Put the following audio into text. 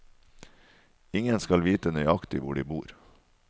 Ingen skal vite nøyaktig hvor de bor.